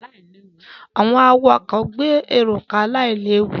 Àwọn awakọ̀ àkerọ gbé àwọn èrò ká láì léwu.